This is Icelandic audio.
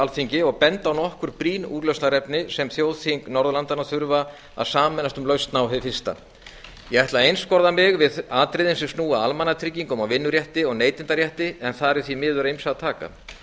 alþingi og benda á nokkur brýn úrlausnarefni sem þjóðþing norðurlandanna þurfa að sameinast um lausn á hið fyrsta ég ætla að einskorða mig við atriðin sem snúa að almannatryggingum og vinnurétti og neytendarétti en þar er því af ýmsu að taka